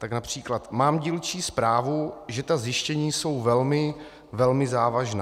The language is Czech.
Tak například: "Mám dílčí zprávu, že ta zjištění jsou velmi, velmi závažná.